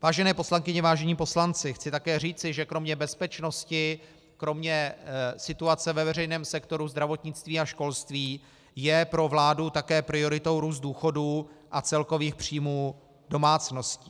Vážené poslankyně, vážení poslanci, chci také říci, že kromě bezpečnosti, kromě situace ve veřejném sektoru zdravotnictví a školství je pro vládu také prioritou růst důchodů a celkových příjmů domácností.